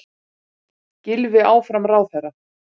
Gylfi áfram ráðherra